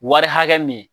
Wari hakɛ min